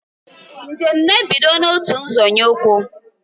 Njem na ebido n'otu nzọnye ukwu